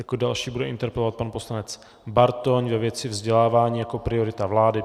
Jako další bude interpelovat pan poslanec Bartoň ve věci vzdělávání jako priorita vlády.